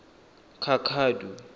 cacadu